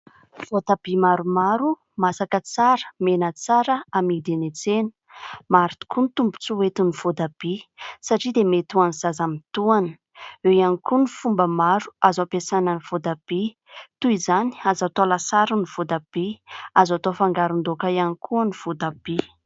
Voatabia maromaro masaka tsara, mena tsara amidy eny an-tsena. Maro tokoa ny tombon-tsoa entin'ny voatabia satria dia mety ho an'ny zaza mitohana, eo ihany koa ny fomba maro azo ampiasana ny voatabia toy izany : azo atao lasary ny voatabia, azo atao fangaron-daoka ihany koa ny voatabia.